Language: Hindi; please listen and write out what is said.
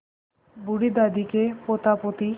बूढ़ी दादी के पोतापोती